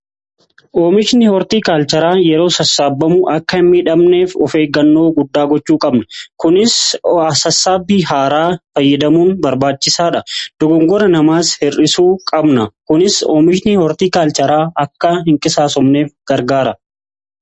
Oomishni hortii kaalcharaa yeroo sassaabamu akka hin miidhamneef of eeggannoo guddaa gochuu qabna. Kunis sassaabbii haaraa fayyadamuun barbaachisaadha. Dogoggora namaas hir'isuu qabna. Kunis oomishni hortii kaalcharaa akka hin qisaasofneef gargaara.